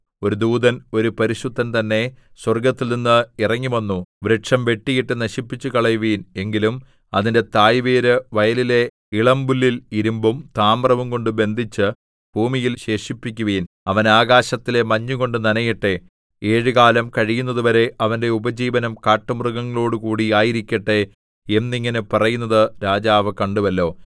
ഒരു ദൂതൻ ഒരു പരിശുദ്ധൻ തന്നെ സ്വർഗ്ഗത്തിൽനിന്ന് ഇറങ്ങിവന്നു വൃക്ഷം വെട്ടിയിട്ട് നശിപ്പിച്ചുകളയുവിൻ എങ്കിലും അതിന്റെ തായ് വേര് വയലിലെ ഇളമ്പുല്ലിൽ ഇരിമ്പും താമ്രവുംകൊണ്ട് ബന്ധിച്ച് ഭൂമിയിൽ ശേഷിപ്പിക്കുവിൻ അവൻ ആകാശത്തിലെ മഞ്ഞുകൊണ്ട് നനയട്ടെ ഏഴുകാലം കഴിയുന്നതുവരെ അവന്റെ ഉപജീവനം കാട്ടുമൃഗങ്ങളോടുകൂടി ആയിരിക്കട്ടെ എന്നിങ്ങനെ പറയുന്നത് രാജാവ് കണ്ടുവല്ലോ